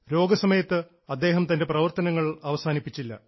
രോഗസമയത്ത് അദ്ദേഹം തൻറെ പ്രവർത്തനങ്ങൾ അവസാനിപ്പിച്ചില്ല